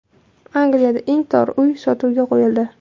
Angliyada eng tor uy sotuvga qo‘yildi.